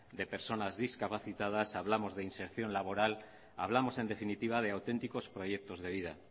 de personas discapacitadas hablamos de inserción laboral hablamos en definitiva de auténticos proyectos de vida